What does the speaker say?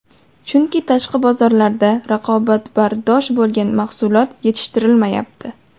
Chunki tashqi bozorlarda raqobatbardosh bo‘lgan mahsulot yetishtirilmayapti.